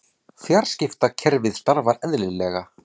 Fjarskiptakerfið starfar eðlilega